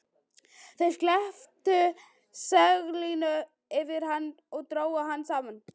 Þeir steyptu seglinu yfir hann og drógu það saman.